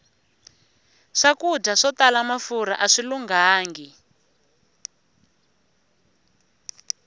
swakudya swo tala mafurha aswi lunghangi